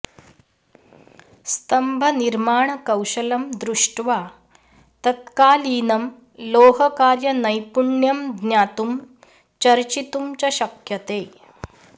स्तम्भनिर्माणकौशलं दृष्ट्वा तत्कालीनं लोहकार्यनैपुण्यं ज्ञातुं चर्चितुं च शक्यते